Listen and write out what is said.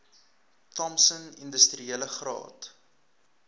thompson industriele graad